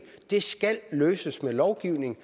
skal løses ved lovgivning